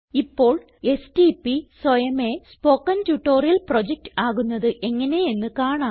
ഇപ്പോൾ എസ്ടിപി സ്വയമേ spoken tutorial project ആകുന്നത് എങ്ങനെയെന്ന് കാണാം